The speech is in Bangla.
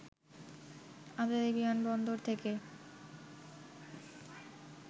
আন্তর্জাতিক বিমান বন্দর থেকে